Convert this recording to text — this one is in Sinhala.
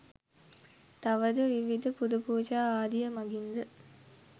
තවද විවිධ පුදපූජා ආදිය මඟින් ද